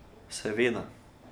Seveda.